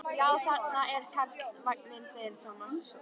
Já, þarna er Karlsvagninn, segir Tómas.